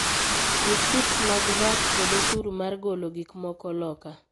Risits mag VAT kod oshuru mar golo gikmoko loka